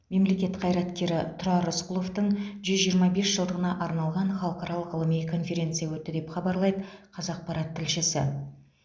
мемлекет қайраткері тұрар рысқұловтың жүз жиырма бес жылдығына арналған халықаралық ғылыми конференция өтті деп хабарлайды қазақпарат тілшісі